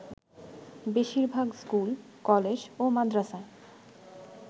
বেশির ভাগ school, college ও মাদরাসায়